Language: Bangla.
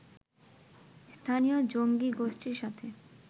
স্থানীয় জঙ্গী গোষ্ঠীর সাথে